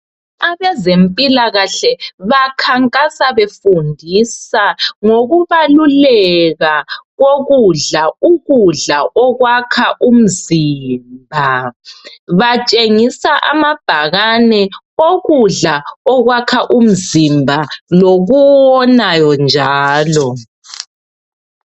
Abezempilakahle, bakhankasa, befundisa, ngokubaluleka kokudla. Ukudla okwakha umzimba. Batshengisa amabhakane okudla okwakha umzimba, lokuwonayo njalo.